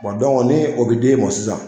ni o bɛ d'e ma sisan.